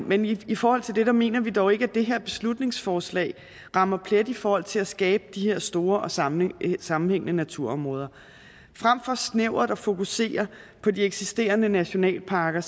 men i forhold til det mener vi dog ikke at det her beslutningsforslag rammer plet i forhold til at skabe de her store og sammenhængende sammenhængende naturområder frem for snævert at fokusere på de eksisterende nationalparker